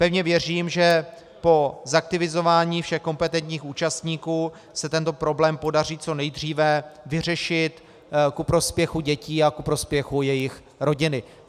Pevně věřím, že po zaktivizování všech kompetentních účastníků se tento problém podaří co nejdříve vyřešit ku prospěchu dětí a ku prospěchu jejich rodiny.